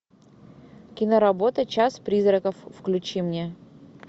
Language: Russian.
киноработа час призраков включи мне